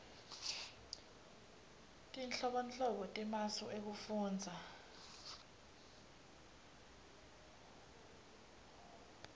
tinhlobonhlobo temasu ekufundza